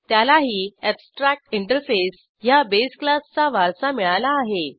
त्यालाही एब्स्ट्रॅक्टिंटरफेस ह्या बेस क्लासचा वारसा मिळाला आहे